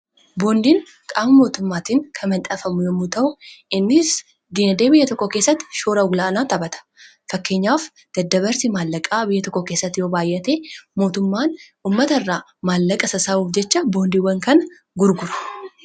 Boondiin qaama mootummaatiin kan manxafamu yommuu ta'u innis diinadee biyya tokko keessatti shoora olaanaa taphata .fakkeenyaaf dadda-barsii maallaqaa biyya tokko keessatti yoo baayyate mootummaan ummata irraa maallaqa sassaabuuf jecha boondiiwwan kana gurgura.